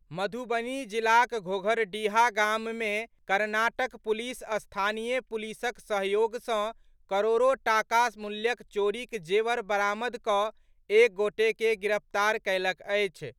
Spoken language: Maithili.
मधुबनी जिलाक घोघरडीहा गाम मे कर्नाटक पुलिस स्थानीय पुलिसक सहयोग सॅ करोड़ो टाका मूल्यक चोरीक जेवर बरामद कऽ एक गोटे के गिरफ्तार कयलक अछि।